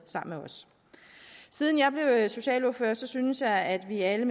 siden jeg blev socialordfører synes jeg at vi alle